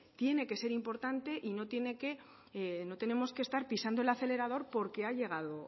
tiene que ser importante y no tenemos que estar pisando el acelerador